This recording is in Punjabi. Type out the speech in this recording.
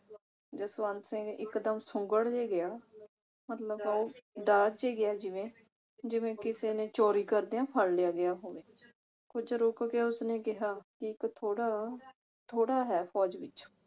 ਜਸਵੰਤ ਸਿੰਘ ਇਕ ਦਮ ਸੁੰਗੜ ਜਿਹਾ ਗਿਆ ਮਤਲਬ ਉਹ ਡਰ ਜੀ ਗਿਆ ਜਿਵੇਂ ਜਿਵੇਂ ਕਿਸੇ ਨੇ ਚੋਰੀ ਕਰਦਿਆਂ ਫੜ ਲਿਆ ਗਿਆ ਹੋਵੇ। ਕੁਛ ਰੁਕ ਕੇ ਉਸਨੇ ਕਿਹਾ ਕਿ ਇਕ ਥੋੜਾ ਥੋੜਾ ਹੈ ਫੌਜ ਵਿਚ